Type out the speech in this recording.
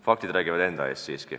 Faktid räägivad enda eest.